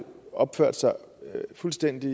opført sig fuldstændig